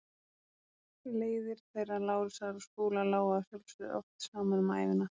Leiðir þeirra Lárusar og Skúla lágu að sjálfsögðu oft saman um ævina.